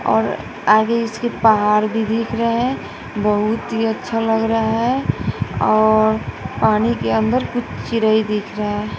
और आगे इसके पहाड़ भी दिख रहा है बहुत ही अच्छा लग रहा है और पानी के अंदर कुछ चिरई दिख रहा--